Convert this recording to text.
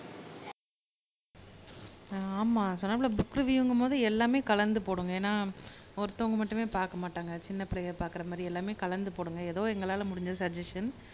அஹ் ஆமா சொன்னாப்ல புக் ரிவியூங்கும்போது எல்லாமே கலந்து போடுங்க ஏன்னா ஒருத்தவங்க மட்டுமே பார்க்க மாட்டாங்க சின்ன பிள்ளையை பார்க்குற மாதிரி எல்லாமே கலந்து போடுங்க ஏதோ எங்களால முடிஞ்ச சஜஷன்